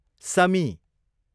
समी